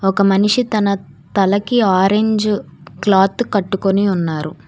ఒక మనిషి తన తలకి ఆరెంజ్ క్లాత్ కట్టుకుని ఉన్నారు.